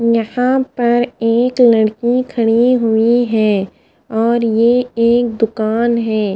यहां पर एक लड़की खड़ी हुई है और ये एक दुकान है।